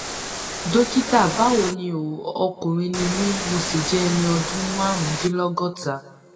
dókítà báwo ni o ọkùnrin ni mí mo sì jẹ ẹni ọdún márùndínlọgọta